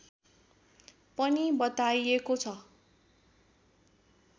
पनि बताइएको छ